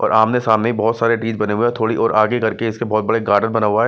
ओर आमने-सामने बहुत सारे बने हुए हैं और थोड़ी दूर आगे करके इसके बहुत बड़ा गार्डन बना हुआ है।